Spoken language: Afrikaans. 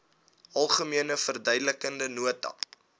algemene verduidelikende nota